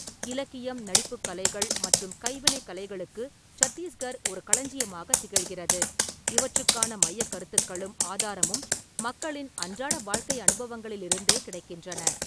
இலக்கியம், நடிப்புக் கலைகள் மற்றும் கைவினைக் கலைகளுக்கு சத்தீஸ்கர் ஒரு களஞ்சியமாகத் திகழ்கிறது, இவற்றுக்கான மையக் கருத்துக்களும் ஆதாரமும் மக்களின் அன்றாட வாழ்க்கை அனுபவங்களிலிருந்தே கிடைக்கின்றன.